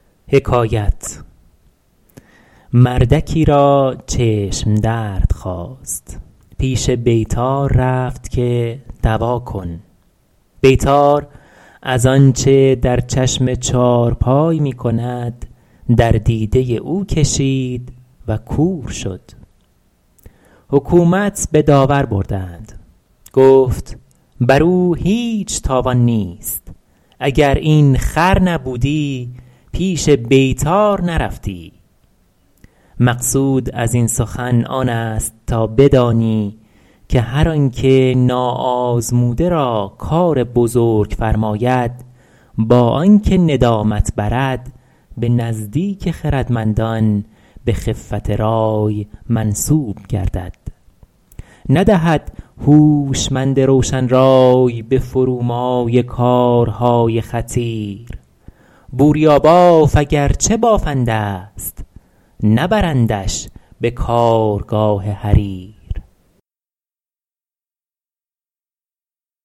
مردکی را چشم درد خاست پیش بیطار رفت که دوا کن بیطار از آنچه در چشم چارپای می کند در دیده او کشید و کور شد حکومت به داور بردند گفت بر او هیچ تاوان نیست اگر این خر نبودی پیش بیطار نرفتی مقصود از این سخن آن است تا بدانی که هر آن که ناآزموده را کار بزرگ فرماید با آن که ندامت برد به نزدیک خردمندان به خفت رای منسوب گردد ندهد هوشمند روشن رای به فرومایه کارهای خطیر بوریاباف اگر چه بافنده ست نبرندش به کارگاه حریر